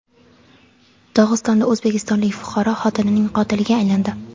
Dog‘istonda o‘zbekistonlik fuqaro xotinining qotiliga aylandi.